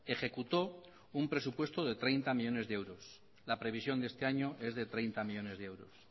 ejecutó un presupuesto de treinta millónes de euros la previsión de este año es de treinta millónes de euros